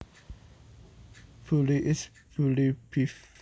Bully is bully beef